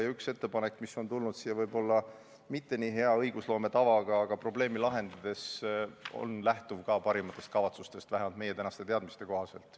Ja see üks ettepanek, mis on tulnud siia võib-olla mitte nii head õigusloome tava järgides, aga probleemi lahendades, lähtub siiski parimatest kavatsustest, vähemalt meie tänaste teadmiste kohaselt.